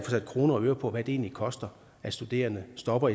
sat kroner og øre på hvad det egentlig koster at studerende stopper